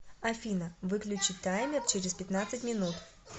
афина выключи таймер через пятнадцать минут